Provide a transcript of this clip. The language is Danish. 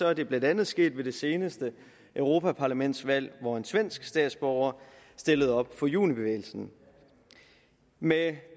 er det blandt andet sket ved det seneste europaparlamentsvalg hvor en svensk statsborger stillede op for junibevægelsen med